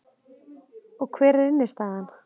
Og hver er innstæðan